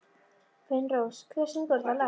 Finnrós, hver syngur þetta lag?